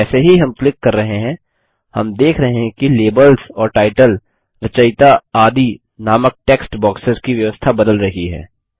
जैसे ही हम क्लिक कर रहे हैं हम देख रहे हैं कि लेबल्स और टाइटल रचयिता आदि नामक टेक्स्ट बॉक्सेस की व्यवस्था बदल रही है